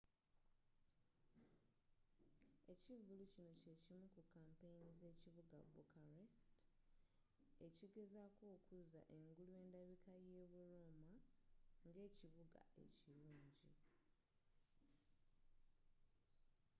ekivvulu kino kyekimu ku kampeyini z'ekiuga bucharest ekigezako okuzza engulu endabika ye bu roma ng'ekibuga ekilungi